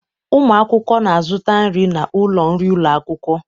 Ụmụ akwụkwọ na-azụta nri n'ụlọ nri ụlọ akwụkwọ